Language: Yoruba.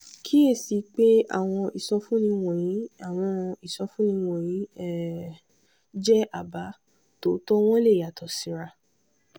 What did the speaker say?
kíyèsí pé àwọn ìsọfúnni wọ̀nyí àwọn ìsọfúnni wọ̀nyí um jẹ́ àbá; tòótọ́ wọn lè yàtọ̀ síra.